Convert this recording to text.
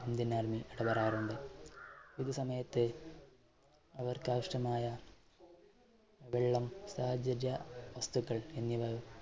indian army ഇടപെടാറുണ്ട് ഇത് സമയത്ത് അവർക്ക് ആവശ്യമായ വെള്ളം വസ്തുക്കൾ എന്നിവയും